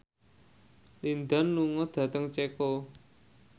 Lin Dan lunga dhateng Ceko